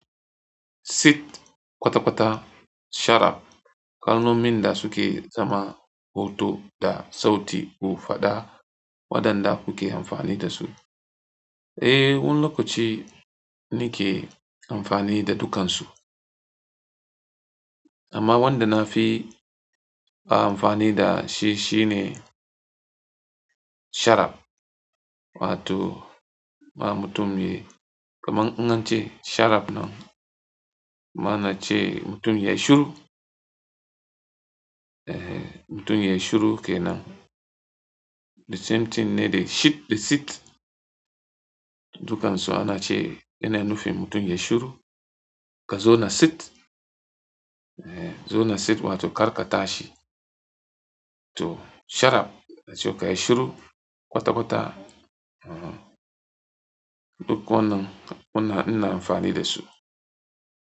Sit, kwata-kwata, sharap. Kalnomin da suke zama hoto da sauti ku faɗa waɗanda kuke amfani da su. Eh, wani lokaci ni ke amfani da dukansu. Amma wanda na fi ba amfani da shi shine sharab wato ma mutum mai kaman in an she sharab nan kaman ashe mutum yayi shiru eh mutum yayi shiru kenan The something ne da shit da sit. Dukansu ana ce yana nufin mutum ya yi shiru. Ka zauna sit, eh, zauna sit wato karka tashi. To sharap a ce ka yi shiru, kwata-kwata. Eh, duk wannan ina amfani da su.